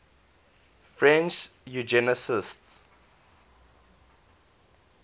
french eugenicists